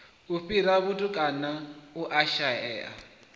u fhira vhatukana u shaea